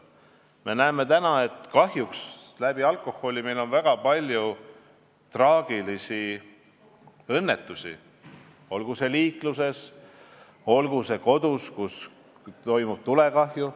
Me näeme, et kahjuks on meil alkoholi tõttu olnud väga palju traagilisi õnnetusi, olgu siis liikluses või kodudes, kus toimuvad tulekahjud.